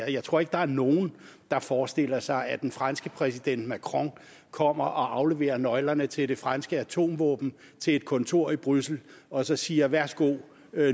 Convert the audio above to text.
jeg tror ikke der er nogen der forestiller sig at den franske præsident macron kommer og afleverer nøglerne til det franske atomvåben til et kontor i bruxelles og så siger værsgo